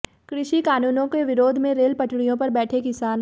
कृषि कानूनों के विरोध में रेल पटरियों पर बैठे किसान